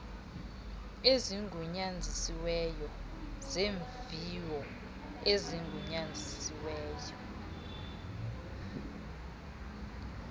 ezigunyazisiweyo zeemviwo ezigunyazisiweyo